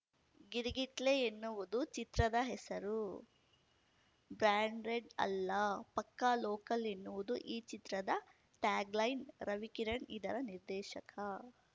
ಗಿರ್‌ಗಿಟ್ಲೆ ಎನ್ನುವುದು ಚಿತ್ರದ ಹೆಸರು ಬ್ರಾಂಡೆಡ್‌ ಅಲ್ಲ ಪಕ್ಕಾ ಲೋಕಲ್‌ ಎನ್ನುವುದು ಈ ಚಿತ್ರದ ಟ್ಯಾಗ್‌ಲೈನ್‌ ರವಿಕಿರಣ್‌ ಇದರ ನಿರ್ದೇಶಕ